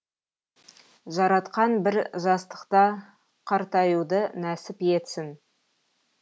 жаратқан бір жастықта қартаюды нәсіп етсін